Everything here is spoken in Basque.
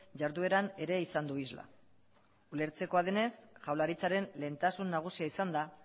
jardueran ere izan du isla ulertzekoa denez jaurlaritzaren lehentasun nagusia izan da